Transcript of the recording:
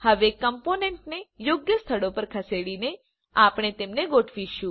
હવે કમ્પોનન્ટોને યોગ્ય સ્થળો પર ખસેડીને આપણે તેમને ગોઠવીશું